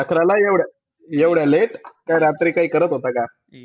अकराला एव्हडं~ एवढ्या late? रात्री काई करत होता का?